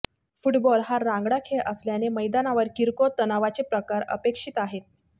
football हा रांगडा खेळ असल्याने मैदानावर किरकोळ तणावाचे प्रकार अपेक्षित आहेत